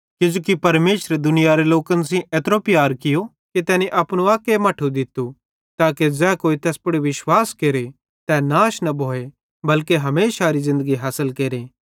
किजोकि परमेशरे दुनियारे लोकन सेइं एत्रो प्यार कियो कि तैनी अपनू अक्के मट्ठू दित्तू ताके ज़ै कोई तैस पुड़ विश्वास केरे तै नाश न भोए बल्के हमेशारी ज़िन्दगी हासिल केरे